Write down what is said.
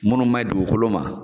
Munnu maɲi dugukolo ma